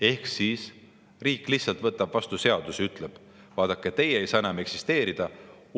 Ehk siis nii, et riik lihtsalt võtab vastu seaduse ja ütleb: "Vaadake, teie ei saa enam eksisteerida.